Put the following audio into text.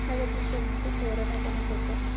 सगळ्या teachers चे favorite आपणच होतो.